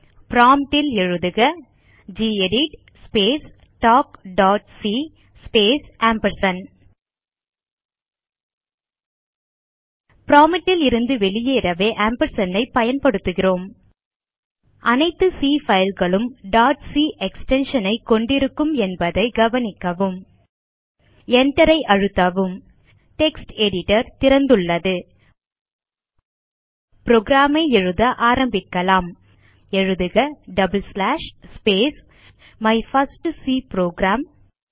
prompt ல் எழுதுக gedit space talk dot C space prompt லிருந்து வெளியேறவே ஆம்பர்சாண்ட் ஐ பயன்படுத்துகிறோம் அனைத்து சி fileகளும் டாட் சி எக்ஸ்டென்ஷன் ஐ கொண்டிருக்கும் என்பதை கவனிக்கவும் Enter ஐ அழுத்தவும் டெக்ஸ்ட் எடிட்டர் திறந்துள்ளது புரோகிராம் ஐ எழுத ஆரம்பிக்கலாம் எழுதுக double slash space my first C program